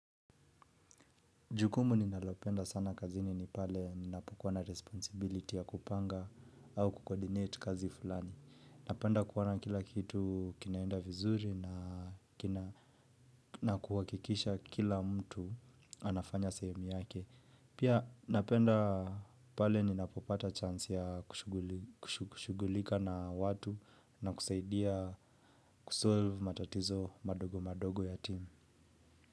Jukumu ninalopenda sana kazini ni pale ninapokuwa na responsibility ya kupanga au kucoordinate kazi fulani. Napenda kuona kila kitu kinaenda vizuri na kuhakikisha kila mtu anafanya sehemu yake. Pia napenda pale ninapopata chance ya kushughulika na watu na kusaidia kusolve matatizo madogo madogo ya timu.